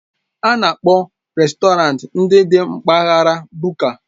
A na-akpọ rèstọrantị ndị dị na mpaghara Buka.